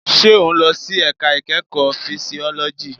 Ṣé o n lọ sí ẹ̀ka ìkẹ́kọ̀ọ́ fisiọ́lọ́jì?